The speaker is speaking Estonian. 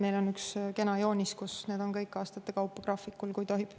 Meil on üks kena joonis, kus need kõik on aastate kaupa graafikule kantud.